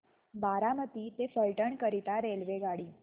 बारामती ते फलटण करीता रेल्वेगाडी